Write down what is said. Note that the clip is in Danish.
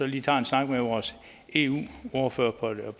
lige tager en snak med vores eu ordfører